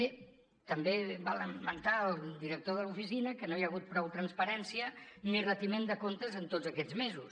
bé també va lamentar el director de l’oficina que no hi ha hagut prou transparència ni retiment de comptes en tots aquests mesos